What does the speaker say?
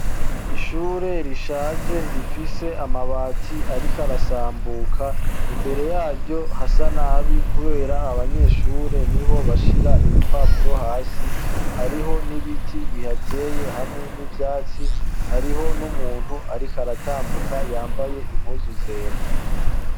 ishure rishaje rifise amabati arikarasambuka imbere yaryo hasa nabi kubera abanyeshure niho bashira ibipapuro hasi hariho n'ibiti bihateye hamwe n'ivyatsi hariho n'umuntu arikaratambuka yambaye impuzu zera